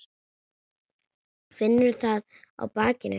Finnur það á bakinu.